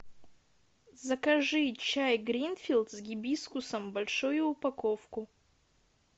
закажи чай гринфилд с гибискусом большую упаковку